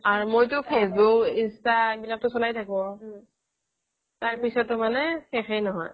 মইটো facebook inta এইবিলাক চলাই থাকো তাৰপিছতো মানে শেষেই নহয়